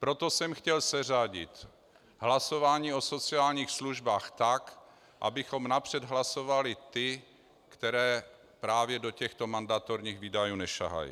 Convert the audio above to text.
Proto jsem chtěl seřadit hlasování o sociálních službách tak, abychom napřed hlasovali ty, které právě do těchto mandatorních výdajů nesahají.